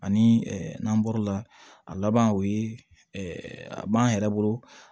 Ani n'an bɔr'o la a laban o ye a b'an yɛrɛ bolo